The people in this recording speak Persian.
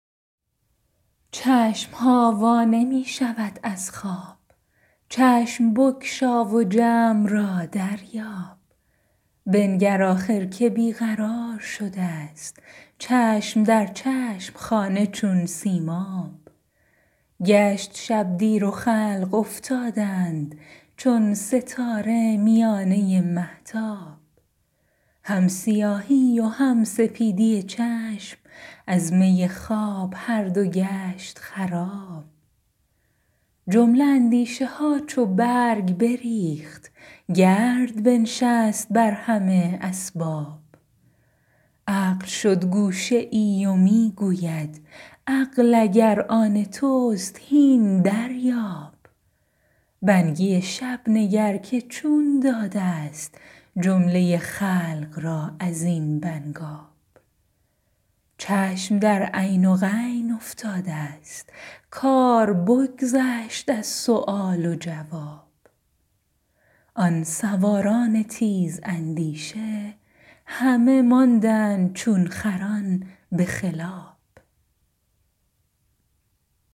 چشم ها وا نمی شود از خواب چشم بگشا و جمع را دریاب بنگر آخر که بی قرار شدست چشم در چشم خانه چون سیماب گشت شب دیر و خلق افتادند چون ستاره میانه مهتاب هم سیاهی و هم سپیدی چشم از می خواب هر دو گشت خراب جمله اندیشه ها چو برگ بریخت گرد بنشست بر همه اسباب عقل شد گوشه ای و می گوید عقل اگر آن تست هین دریاب بنگی شب نگر که چون دادست جمله خلق را از این بنگاب چشم در عین و غین افتادست کار بگذشت از سؤال و جواب آن سواران تیزاندیشه همه ماندند چون خران به خلاب